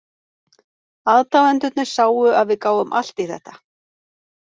Aðdáendurnir sáu að við gáfum allt í þetta.